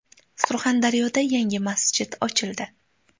Surxondaryoda yangi masjid ochildi .